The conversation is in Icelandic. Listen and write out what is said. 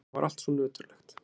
Það var allt svo nöturlegt.